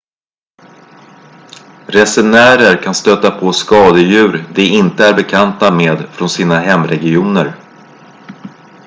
resenärer kan stöta på skadedjur de inte är bekanta med från sina hemregioner